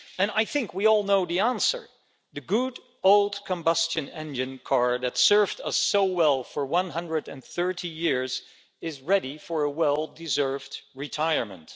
I think we all know the answer the good old combustion-engine car that served us so well for 130 years is ready for its well deserved retirement.